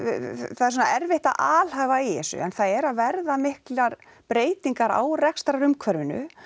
það er svona erfitt að alhæfa í þessu en það eru að verða miklar breytinga á rekstrarumhverfinu